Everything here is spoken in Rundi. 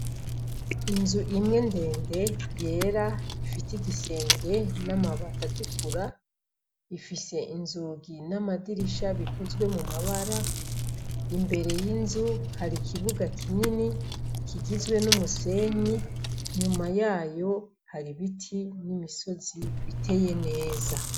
Inzu imwe ndende yera ifise igisenge n' amabati atukura ifise inzugi n' amadirisha bifise amabara imbere hari ikibuga kinini kigizwe n' umusenyi inyuma yayo hari ibiti n' imisozi biteye neza.